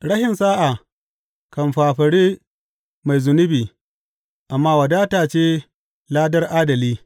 Rashin sa’a kan fafare mai zunubi, amma wadata ce ladar adali.